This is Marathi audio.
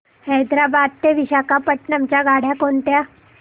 हैदराबाद ते विशाखापट्ण्णम च्या गाड्या कोणत्या